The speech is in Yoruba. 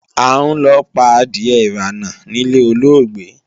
A ń lọ pa adìe-ìránà níle olóògbé.